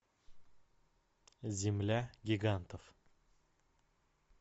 земля гигантов